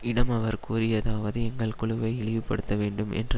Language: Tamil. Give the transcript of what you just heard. இடம் அவர் கூறியதாவது எங்கள் குழுவை இழிவுபடுத்த வேண்டும் என்ற